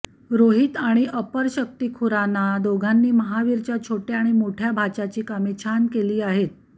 रोहित आणि अपरशक्ती खुराना दोघांनी महावीरच्या छोट्या आणि मोठ्या भाच्याची कामे छान केली आहेत